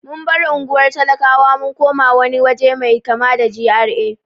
Mun bar unguwar talakawa mun koma wani waje mai kama da GRA.